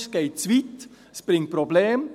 Es geht zu weit, es bringt Probleme.